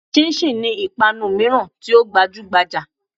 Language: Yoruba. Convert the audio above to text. Chinchin' ni ìpanu míràn tí ó gbajúgbajà